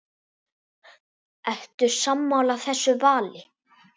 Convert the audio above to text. Ertu sammála þessu vali?